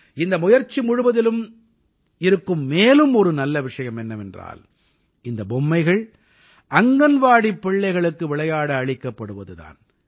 இந்த முயற்சி முழுவதிலும் இருக்கும் மேலும் ஒரு நல்ல விஷயம் என்னவென்றால் இந்தப் பொம்மைகள் அங்கன்வாடிப் பிள்ளைகளுக்கு விளையாட அளிக்கப்படுவது தான்